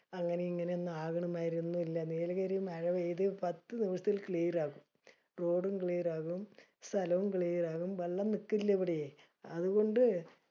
അങ്ങിനെഇങ്ങിനെ ഒന്നും ആകണ ആയിരി ഒന്നും ഇല്യ. നീലഗിരീല് മഴ പെയ്ത് പത്തുദൂസതിൽ clear ആകും. Road ഉം clear ആകും. സ്ഥലം clear ആകും. വെള്ളം നിക്കില്യ ഇവിടെ. അതുകൊണ്ട്